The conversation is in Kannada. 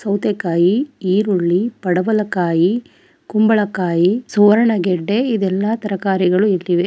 ಸೌತೆಕಾಗಿ ಈರುಳ್ಳಿ ಪಡಬಲಕಾಯಿ ಕುಂಬಳಕಾಯಿ ಸುವರ್ಣಗೆಡ್ಡೆ ಇವೆಲ್ಲ ತರಕಾರಿಗಳು ಇಟ್ಟಿವೆ.